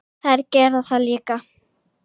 Þær gera það líka?